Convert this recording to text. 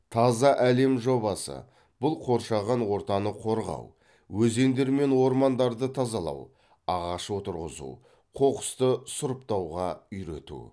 таза әлем жобасы бұл қоршаған ортаны қорғау өзендер мен ормандарды тазалау ағаш отырғызу қоқысты сұрыптауға үйрету